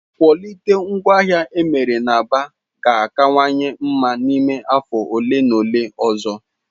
Kwọlitii ngwaahịa emere na Aba ga-akawanye mma n'ime afọ ole na ole ọzọ.